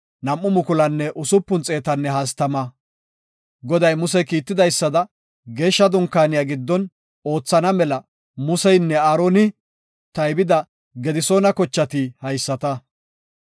Goday Muse kiitidaysada Geeshsha Dunkaaniya giddon oothana mela Museynne Aaroni taybida Gedisoona kochati haysata.